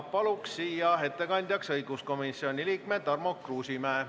Palun siia ettekandjaks õiguskomisjoni liikme Tarmo Kruusimäe.